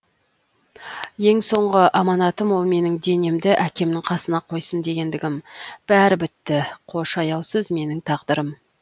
ең соңғы аманатым ол менің денемді әкемнің қасына қойсын дегендігім бәрі бітті қош аяусыз менің тағдырым